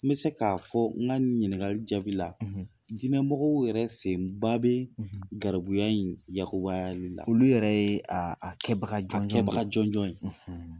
N bɛ se k'a fɔ n ka ɲininkali jaabi la dinɛmɔgɔw yɛrɛ sen ba bɛ garibuya in yakubayali la olu yɛrɛ ye a kɛbaga jɔnjɔn ye.